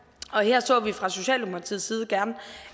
og her så vi fra socialdemokratiets side gerne